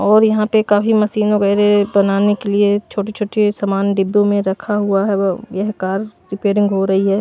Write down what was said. और यहां पे काफी मशीन वगैरह बनाने के लिए छोटे-छोटे सामान डिब्बों में रखा हुआ है यह कार रिपेयरिंग हो रही है।